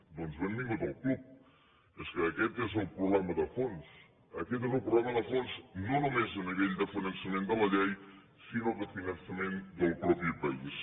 doncs benvingut al club és que aquest és el problema de fons aquest és el problema de fons no només a nivell de finançament de la llei sinó de finançament del propi país